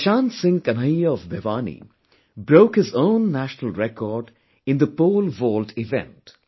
Prashant Singh Kanhaiya of Bhiwani broke his own national record in the Pole vault event